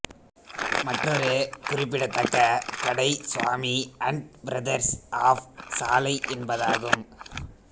மற்றொரு குறிப்பிடத்தக்க கடை சுவாமி அன்ட் பிரதர்ஸ் ஆஃப் சாலை என்பதாகும்